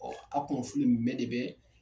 Ɔɔ a kunnafi nin bɛ de bɛ